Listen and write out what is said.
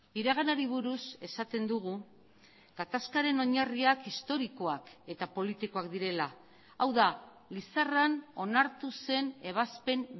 iraganari buruz esaten dugu gatazkaren oinarriak historikoak eta politikoak direla hau da lizarran onartu zen ebazpen